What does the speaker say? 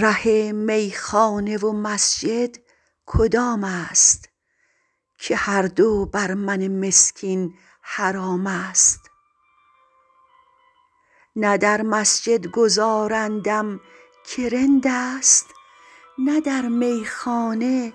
ره میخانه و مسجد کدام است که هر دو بر من مسکین حرام است نه در مسجد گذارندم که رند است نه در میخانه